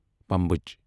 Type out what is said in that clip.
پمبچھ